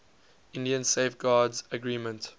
india safeguards agreement